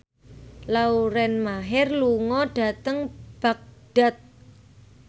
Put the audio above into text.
Lauren Maher lunga dhateng Baghdad